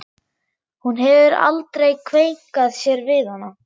Hún hefur aldrei kveinkað sér við hana.